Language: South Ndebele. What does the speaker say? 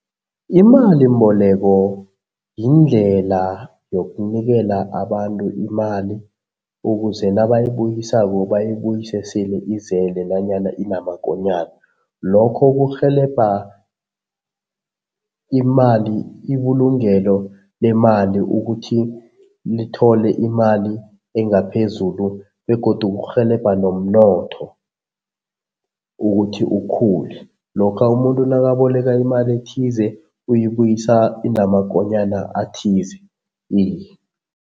Imalimboleko yindlela yokunikela abantu imali ukuze nabayibuyisako bayibuyise sele izele nanyana inamakonyana. Lokho kurhelebha imali ibulungelo lemali ukuthi lithole imali engaphezulu begodu kurhelebha nomnotho ukuthi ukhule. Lokha umuntu nakaboleka imali ethize, uyibuyisa inamakonyana athize